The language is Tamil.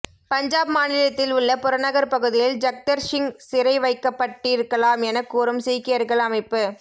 பஞ்சாப் மாநிலத்தில் உள்ள புறநகர் பகுதியில் ஜக்தர் சிங் சிறை வைக்கப்பட்டிருக்கலாம் என கூறும் சீக்கியர்கள் அமைப்பு